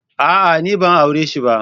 A'a! Ni ban aure shi ba.